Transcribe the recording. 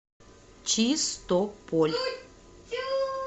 чистополь